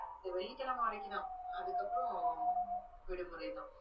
இந்த வெள்ளிக்கிழமை வரைக்கும்தான். அதுக்கப்புறம், விடுமுறைதான்.